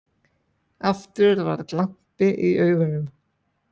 Aftur var glampi í augunum.